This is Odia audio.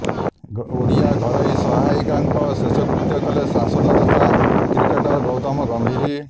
ଓଡିଆ ଘରୋଇ ସହାୟିକାଙ୍କ ଶେଷକୃତ୍ୟ କଲେ ସାଂସଦ ତଥା କ୍ରିକେଟର ଗୌତମ ଗାମ୍ଭୀର